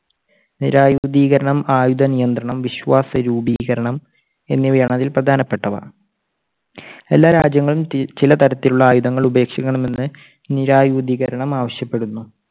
നിരായുധീകരണം, ആയുധ നിയന്ത്രണം, വിശ്വാസ രൂപീകരണം എന്നിവയാണ് അതിൽ പ്രധാനപ്പെട്ടവ. സ്പ എല്ലാ രാജ്യങ്ങളും ചില തരത്തിലുള്ള ആയുധങ്ങൾ ഉപേക്ഷിക്കണമെന്ന് നിരായുധീകരണം ആവശ്യപ്പെടുന്നു.